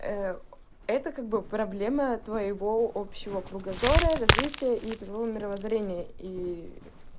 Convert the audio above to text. это как бы проблема твоего общего кругозора развития и твоего мировоззрения и